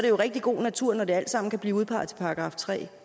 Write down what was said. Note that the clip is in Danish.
jo rigtig god natur når det alt sammen kan blive udpeget til § tre